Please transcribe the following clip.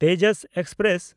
Tejas express